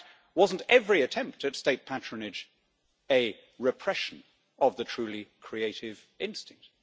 In fact, wasn't every attempt at state patronage a repression of the truly creative instinct?